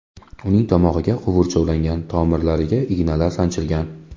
Uning tomog‘iga quvurcha ulangan, tomirlariga ignalar sanchilgan.